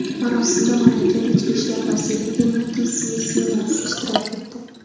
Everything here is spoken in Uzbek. Marosimda mamlakat ichki ishlar vaziri Eymutis Misyunas ishtirok etdi.